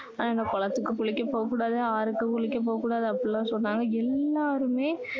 குளத்துக்கு குளிக்க போக கூடாது ஆறுக்கு குளிக்க போக கூடாது அப்படி எல்லாம் சொன்னாங்க எல்லாருமே